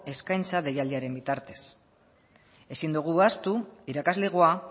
eskaintza deialdiaren bitartez ezin dugu ahaztu irakaslegoa